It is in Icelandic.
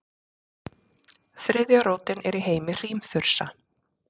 þriðja rótin er í heimi hrímþursa